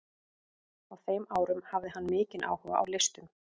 Á þeim árum hafði hann mikinn áhuga á listum.